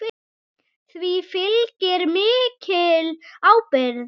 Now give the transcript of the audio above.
Því fylgir mikil ábyrgð.